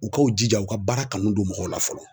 U ka u jija u ka baara kanu don mɔgɔw la fɔlɔ.